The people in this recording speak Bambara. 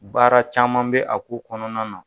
Baara caman bɛ a ko kɔnɔna na